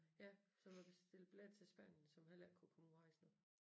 Ja som havde bestilt billetter til Spanien som heller ikke kunne komme ud og rejse nu